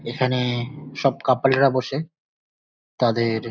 এখানে-এ সব কাপলরা বসে। তাদের --